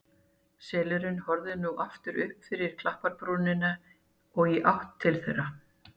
Selurinn horfði nú aftur upp fyrir klapparbrúnina og í áttina til þeirra.